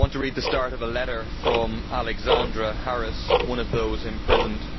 I want to read the start of a letter from Alexandra Harris, one of those imprisoned.